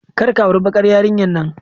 Kar ka auri bakar yarinyar nan.